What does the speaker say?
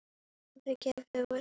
Urður gefur út.